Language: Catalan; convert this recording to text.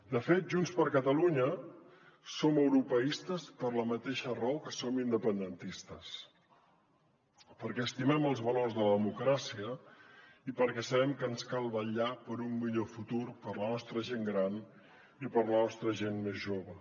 de fet junts per catalunya som europeistes per la mateixa raó que som independentistes perquè estimem els valors de la democràcia i perquè sabem que ens cal vetllar per un millor futur per a la nostra gent gran i per a la nostra gent més jove